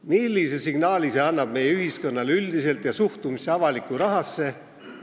Millise signaali annab see meie ühiskonnale üldiselt ja suhtumise kohta avalikku rahasse?